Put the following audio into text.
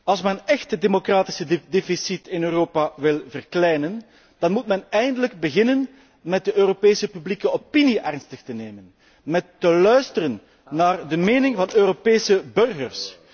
Als men echt het democratisch deficit in Europa wil verkleinen, moet men eindelijk beginnen met de Europese publieke opinie ernstig te nemen, met te luisteren naar de mening van de Europese burgers.